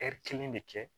kelen de kɛ